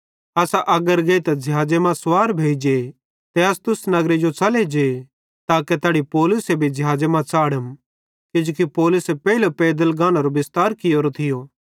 असां अग्गर गेइतां ज़िहाज़े मां सुवार भोइ जे ते अस्सुस नगरे जो च़ले जे ताके तैड़ी पौलुसे भी ज़िहाज़े मां च़ाढ़म किजोकि पौलुसे पेइले पैदल गानेरो बिस्तार कियोरो थियो